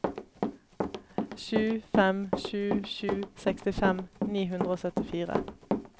sju fem sju sju sekstifem ni hundre og syttifire